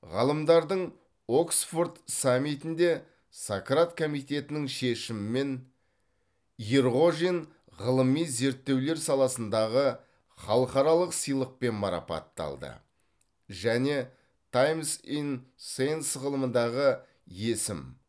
ғалымдардың оксфорд саммитінде сократ комитетінің шешімімен ерғожин ғылыми зерттеулер саласындағы халықаралық сыйлықпен марапатталды және таймс ин сейнс ғылымындағы есім